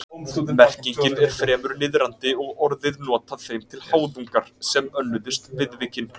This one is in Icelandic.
Merkingin er fremur niðrandi og orðið notað þeim til háðungar sem önnuðust viðvikin.